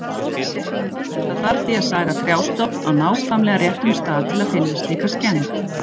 Það þarf því að saga trjástofn á nákvæmlega réttum stað til að finna slíka skemmd.